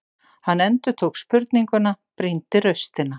Hann endurtók spurninguna, brýndi raustina.